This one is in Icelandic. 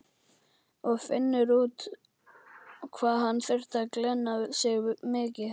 Og finnur út hvað hann þurfi að glenna sig mikið.